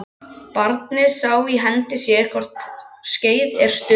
Barnið sá í hendi sér hve vort skeið er stutt